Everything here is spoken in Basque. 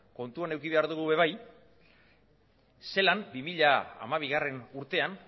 kontuan eduki behar dugu ere bai zelan bi mila hamabigarrena urtean